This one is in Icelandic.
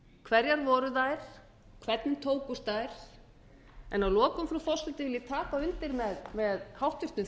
hverjar voru þær hvernig tókust þær að lokum frú forseti vil ég taka undir með háttvirtum